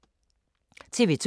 TV 2